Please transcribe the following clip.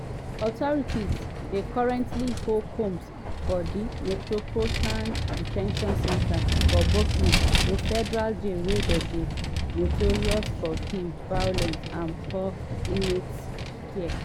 authorities dey currently hold combs for di metropolitan de ten tion center for brooklyn a federal jail wey dey notorious for im violence and poor inmate care.